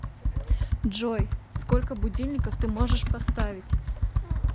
джой сколько будильников ты можешь поставить